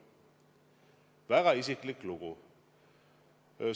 Väga isiklik lugu!